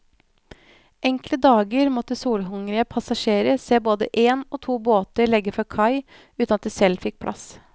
Enkelte dager måtte solhungrige passasjere se både en og to båter legge fra kai uten at de selv fikk plass.